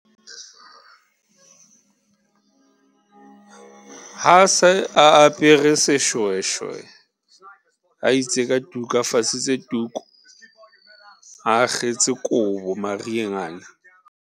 A se a apere seshweshwe, a itse ka tuka a fasitse tuku, a akgetse kobo mariheng ana.